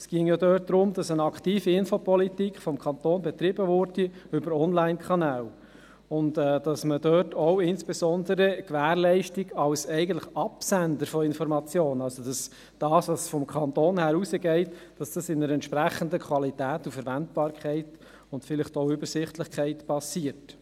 Dort geht es darum, dass seitens des Kantons über Online-Kanäle eine aktive Informationspolitik betrieben würde und dass man dort insbesondere auch die Gewährleistung als eigentlicher Absender von Informationen – also das, was seitens des Kantons hinausgeht –, dass dies in einer entsprechenden Qualität und Verwendbarkeit und vielleicht auch Übersichtlichkeit geschieht.